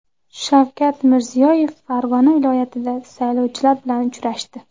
Shavkat Mirziyoyev Farg‘ona viloyatida saylovchilar bilan uchrashdi.